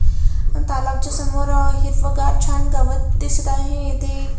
तलावाच्या समोर हिरवगार छान गवत दिसत आहे इथे--